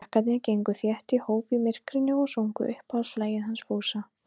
Krakkarnir gengu þétt í hóp í myrkrinu og sungu uppáhaldslagið hans Fúsa.